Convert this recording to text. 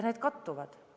Need kattuvad.